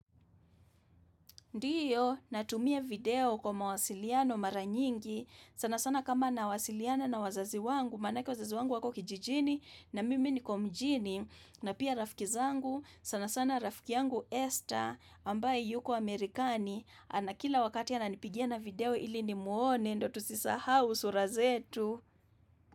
Ndiyo, natumia video kwa mawasiliano mara nyingi, sana sana kama na wasiliana na wazazi wangu, manake wazazi wangu wako kijijini, na mimi niko mijini, na pia rafiki zangu, sana sana rafiki yangu Esther, ambaye yuko Amerikani, ana kila wakati ananipigia na video ili nimuone, ndo tusisahau sura zetu.